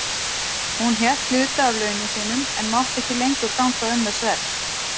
Hún hélt hluta af launum sínum en mátti ekki lengur ganga um með sverð.